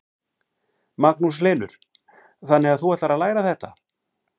Magnús Hlynur: Þannig að þú ætlar að læra þetta?